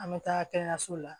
An bɛ taa kɛnɛyasow la